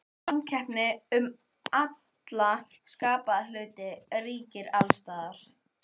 Samkeppni um alla skapaða hluti ríkir alls staðar.